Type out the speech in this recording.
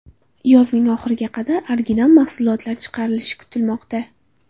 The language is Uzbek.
Yozning oxiriga qadar original mahsulotlar chiqarilishi kutilmoqda.